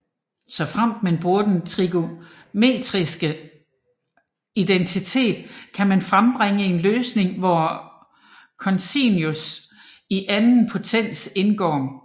Såfremt man bruger den trigonometriske identitet kan man frembringe en løsning hvor cosinus i anden potens indgår